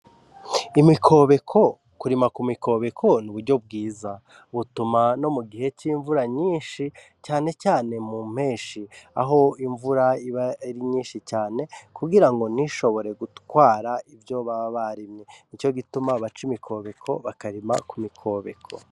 Imikobeko kuriyimako nuburyo bwiza bituma no mugihe c'imvura nyinshi cane cane mu mpenshi aho aba ari nyinshi cane kugirango ntishobore gutwara ivyo baba barimye nico gituma baca imiserege mumirima bakayirimamwo.